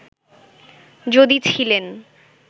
যদি ছিলেন